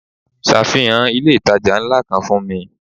Safihan ilé itàjà ńlá kan fún mi.